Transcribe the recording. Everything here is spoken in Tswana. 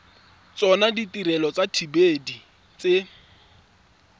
tsona ditirelo tsa dithibedi tse